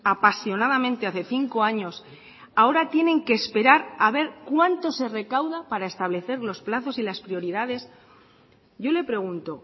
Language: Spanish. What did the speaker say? apasionadamente hace cinco años ahora tienen que esperar a ver cuánto se recauda para establecer los plazos y las prioridades yo le pregunto